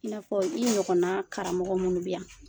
I n'a fɔ i ɲɔgɔn karamɔgɔ minnu bɛ yan